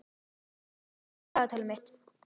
Róbert, opnaðu dagatalið mitt.